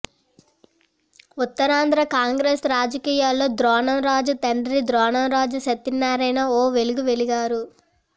ఉత్తరాంధ్ర కాంగ్రెస్ రాజకీయాల్లో ద్రోణంరాజు తండ్రి ద్రోణంరాజు సత్యనారాయణ ఓ వెలుగు వెలిగారు